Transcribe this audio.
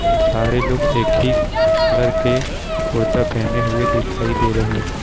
सारे लोग एक ही कलर के कुर्ता पहने हुए दिखाई दे रहे हैं।